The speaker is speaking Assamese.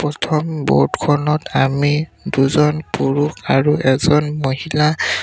প্ৰথম ব'ত খনত আমি দুজন পুৰুষ আৰু এজন মহিলা